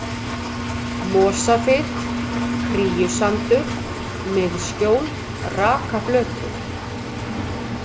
Mosafit, Kríusandur, Miðskjól, Rakaflötur